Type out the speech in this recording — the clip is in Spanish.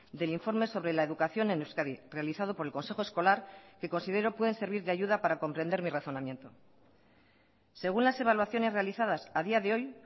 del informe sobre la educación en euskadi realizado por el consejo escolar que considero pueden servir de ayuda para comprender mi razonamiento según las evaluaciones realizadas a día de hoy